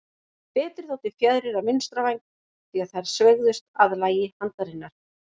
Betri þóttu fjaðrir af vinstra væng, því að þær sveigðust að lagi handarinnar.